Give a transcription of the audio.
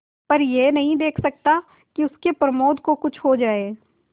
पर यह नहीं देख सकता कि उसके प्रमोद को कुछ हो जाए